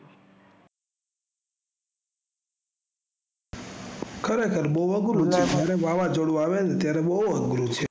ખરેખર બોલોહું વાવાજોડું આવે તાયરે ખુબ આઘરુ છે